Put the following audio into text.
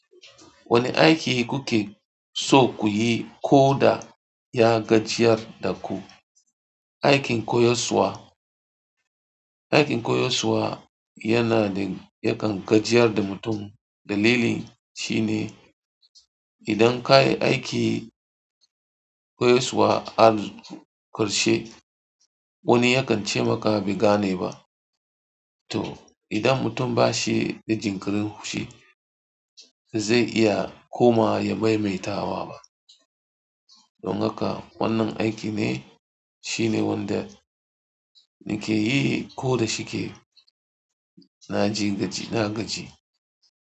Wane aiki kuke so ku yi ko da ya gajiyar da ku? Aikin koyaswa. Aikin koyaswa yana da yakan gajiyar da mutum. Dalili shi ne idan ka yi aiki koyaswa har ƙarshe wani yakan ce maka ba gane ba. To idan mutum ba shi da jinkirin haushi zai iya koma ya maimaita wa ba. Don haka wannan aiki ne shine wanda nake yi ko da shike. Na ji gaji, na gaji.